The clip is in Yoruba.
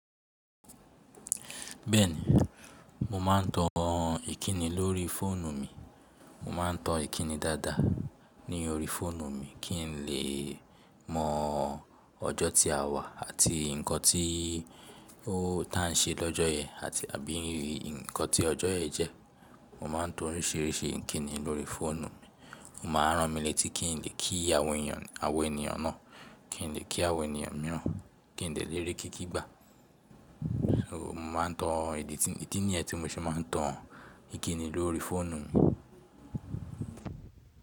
Bẹ́ẹ̀ni, mo máa ń tó ìkíni lórí fóònù mi. Mo máa ń tó ìkíni dáadáa ní orí fóònù mi kí n lè mọ ọjọ́ tí a wà àti nǹkan tí ó tàn ṣe lọ́jọ́ yẹn àti àbí rí nǹkan tí ọjọ́ yẹn jẹ́. Mo máa ń tó oríṣiríṣi ìkíni lórí fóònù mi. Mo máa rán mi létí kí n lè kí àwọn ènìyàn, àwọn ènìyàn náà, kí n lè kí àwọn ènìyàn mìíràn, kí n lè léré kíkí gbà. Mo máa ń tò ìdí niyen tí mo ṣe máa ń tò ìkíni lórí fóònù mi.